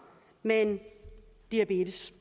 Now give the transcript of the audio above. med diabetes